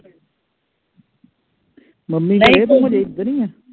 mummy ਘਰੇ ਤੂੰ ਹਜੇ ਇਧਰ ਈਆ